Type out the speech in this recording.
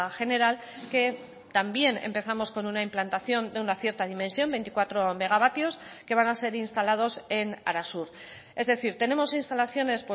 general que también empezamos con una implantación de una cierta dimensión veinticuatro megavatios que van a ser instalados en arasur es decir tenemos instalaciones